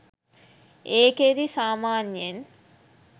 ඒකෙදි සාමාන්‍යයෙන්